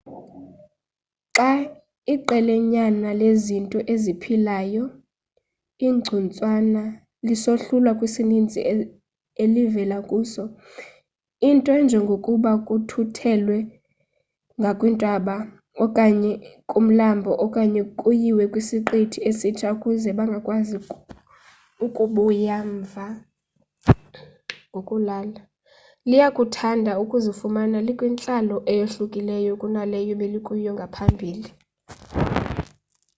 xa iqelanyana lezinto eziphilayo igcuntswana lisohlulwa kwisininzi elivela kuso unto enjengokuba kuthuthelwe ngakwintaba okanye kumlambo okanye kuyiwe kwisiqithi esitsha ukuze bangakwazi ukubuyela umva ngokulula liyakuthanda ukuzifumana likwintlalo eyohlukileyo kunaleyo belikuyo ngaphambili